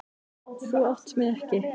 Þú átt mig ekki.